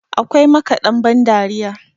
akwai makaɗan bandariya